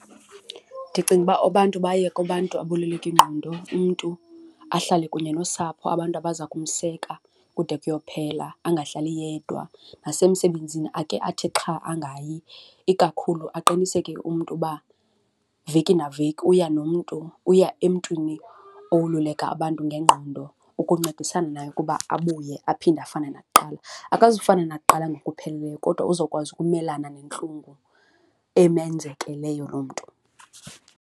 Ndicinga uba abantu baye kubantu aboluleka ingqondo. Umntu ahlale kunye nosapho, abantu abaza kumseka kude kuyophela, angahlali yedwa. Nasemsebenzini ake athi xha angayi. Ikakhulu aqiniseke umntu uba veki neveki uya nomntu, uya emntwini owoluleka abantu ngengqondo ukuncedisana naye ukuba abuye aphinde afane nakuqala. Akazufana nakuqala ngokupheleleyo kodwa uzawukwazi ukumelana nentlungu emenzekeleyo lo mntu.